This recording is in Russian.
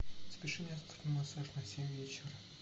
запиши меня завтра на массаж на семь вечера